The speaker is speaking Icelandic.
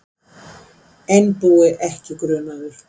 Einbúi ekki grunaður